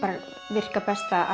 virka best að